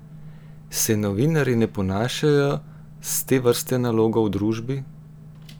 Se novinarji ne ponašajo s te vrste nalogo v družbi?